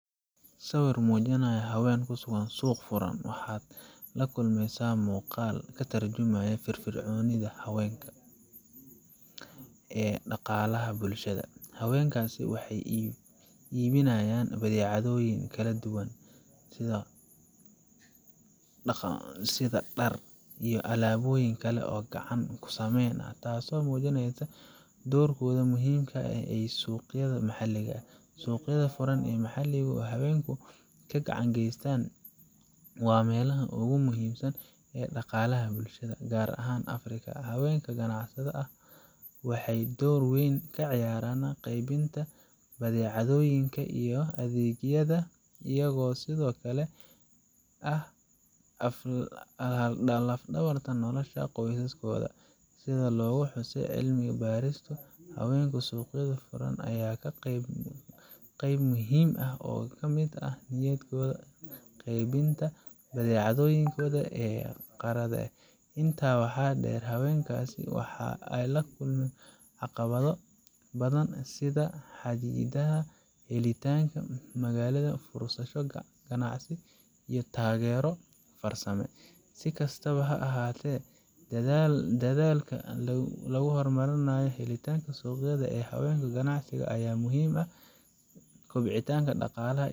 sawir muujinaya haween ku sugan suuq furan, waxaad la kulmaysaa muuqaal ka tarjumaya firfircoonida haweenka ee dhaqaalaha bulshada. Haweenkaasi waxay iibinayaan badeecadooyin kala duwan sida, dhar, iyo alaabooyin kale oo gacan ku samee ah, taasoo muujinaysa doorkooda muhiimka ah ee suuqyada maxalliga ah. Suuqyada furan ee maxaligu ay haweenku ka ganacsadaan waa meelaha ugu muhiimsan ee dhaqaalaha bulshada, gaar ahaan Afrika. Haweenka ganacsatada ah waxay door weyn ka ciyaaraan qeybinta badeecadooyinka iyo adeegyada, iyagoo sidoo kale ah laf dhabarta nolosha qoysaskooda. Sida lagu xusay cilmi baarisyo, haweenka suuqyada furan ayaa ah qayb muhiim ah oo ka mid ah nidaamyada qeybinta badeecadooyinka ee qaaradda Afrika . Intaa waxaa dheer, haweenkaasi waxay la kulmaan caqabado badan sida xadidaadda helitaanka maalgelin, fursado ganacsi, iyo taageero farsamo. Si kastaba ha ahaatee, dadaallada lagu horumarinayo helitaanka suuqyada ee haweenka ganacsatada ah ayaa muhiim u ah kobcinta dhaqaalaha.